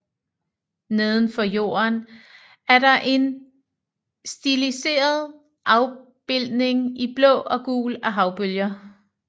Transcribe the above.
Nedenfor jorden er der en stiliseret afbildning i blå og gul af havbølger